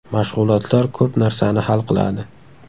Mashg‘ulotlar ko‘p narsani hal qiladi.